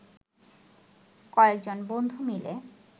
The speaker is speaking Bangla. কয়েকজন বন্ধু মিলে